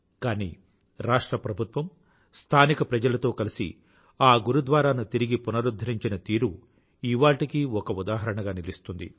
కానీ రాష్ట్ర ప్రభుత్వం స్థానిక ప్రజలతో కలిసి ఆ గురుద్వారాను తిరిగి పునరుధ్ధరించిన తీరు ఇవాళ్టికీ ఒక ఉదాహరణగా నిలుస్తుంది